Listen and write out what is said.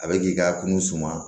A bɛ k'i ka kunun suma